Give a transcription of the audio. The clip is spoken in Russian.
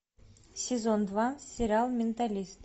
сезон два сериал менталист